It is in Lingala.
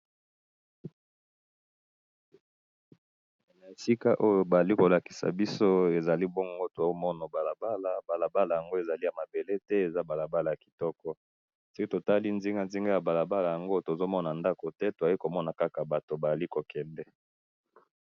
Na moni balabala ya kitoko na pembeni na ngo batu bazali koleka.